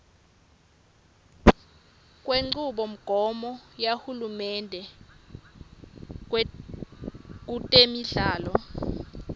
kwenchubomgomo yahulumende kutemidlalo